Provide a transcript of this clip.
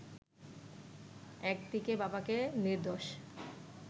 একদিকে বাবাকে নির্দোষ